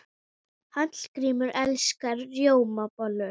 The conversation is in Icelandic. Hallgrímur elskar rjómabollur.